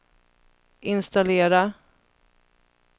installera